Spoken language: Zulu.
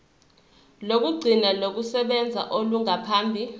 lokugcina lokusebenza olungaphambi